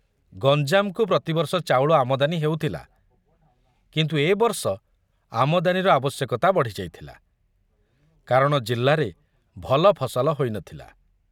ଗଞ୍ଜାମକୁ ପ୍ରତିବର୍ଷ ଚାଉଳ ଆମଦାନୀ ହେଉଥିଲା, କିନ୍ତୁ ଏ ବର୍ଷ ଆମଦାନୀର ଆବଶ୍ୟକତା ବଢ଼ିଯାଇଥିଲା, କାରଣ ଜିଲ୍ଲାରେ ଭଲ ଫସଲ ହୋଇନଥିଲା।